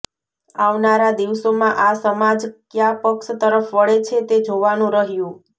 આવનારા દિવસોમાં આ સમાજ કયા પક્ષ તરફ વળે છે તે જોવાનું રહ્યું